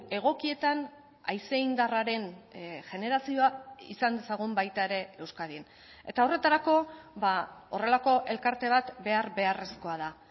egokietan haize indarraren generazioa izan dezagun baita ere euskadin eta horretarako horrelako elkarte bat behar beharrezkoa da